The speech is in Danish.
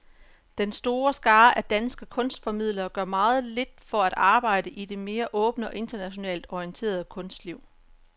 Den store skare af danske kunstformidlere gør meget lidt for at arbejde i det mere åbne og internationalt orienterede kunstliv.